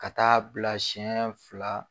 Ka taa bila siɲɛ fila